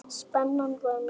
Spennan var mikil.